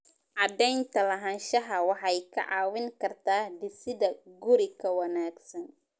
Cadaynta lahaanshaha waxay kaa caawin kartaa dhisidda guri ka wanaagsan.